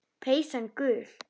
Peysan gul.